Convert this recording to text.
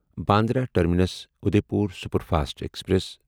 Bandra terminus Udaipur superfast express